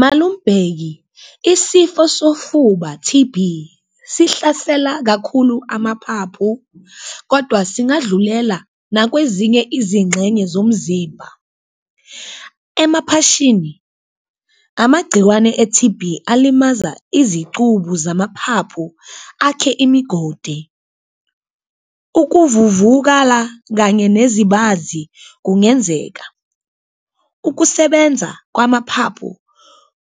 Malum' Bheki isifo sofuba T_B sihlasela kakhulu amaphaphu kodwa singadlulela nakwezinye izingxenye zomzimba, emaphashini amagciwane e-T_B alimaza izicubu zamaphaphu akhe imigodi, ukuvuvukala kanye nezibazi kungenzeka. Ukusebenza kwamaphaphu